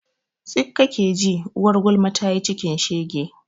tsik kake ji, uwar gulma tayi cikin shege